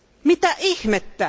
Mitä ihmettä?